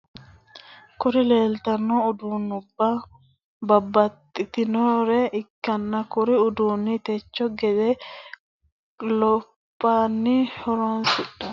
Kuri lelitano udunubba babatitinore ikitana kurri udunino technologete lophani loosanitinore ikitana insano computere, mouse,C.P.U,keyiboridenna moniterete yinanire ikana kurino adid adidnni loosa didanidano.